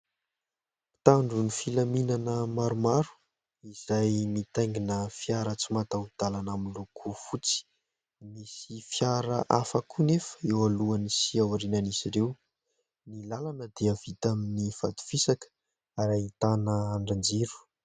Mpitandro ny filaminana maromaro izay mitaingina fiara tsy mataho dalana miloko fotsy. Misy fiara hafa koa nefa eo alohany sy aorinan'izy ireo. Ny lalana dia vita amin'ny vato fisaka ary ahitana andrin-jiro.